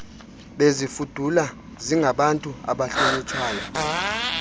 bezifudula zingabantu abahlonitshwayo